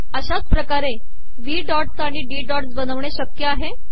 अशाच पकारे वही डॉटस् आिण डी डॉटस् बनवणे शकय आहे